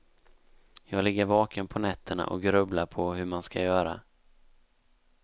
Jag ligger vaken på nätterna och grubblar på hur man skall göra.